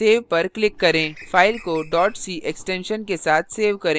मैंने अपनी file typecast c नाम से सेव की है